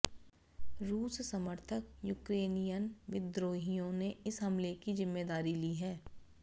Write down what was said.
रूस समर्थक यूक्रेनियन विद्रोहियों ने इस हमले की जिम्मेदारी ली है